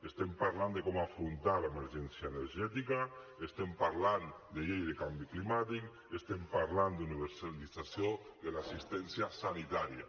estem parlant de com afrontar l’emergència energètica estem parlant de llei de canvi climàtic estem parlant d’universalització de l’assistència sanitària